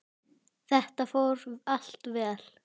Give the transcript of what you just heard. Þetta fór allt vel.